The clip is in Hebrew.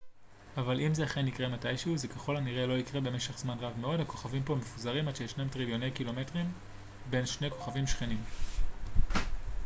אבל אם זה אכן יקרה מתישהו זה ככל הנראה לא יקרה במשך זמן רב מאוד הכוכבים כה מפוזרים עד שישנם טריליוני קילומטרים בין כוכבים שכנים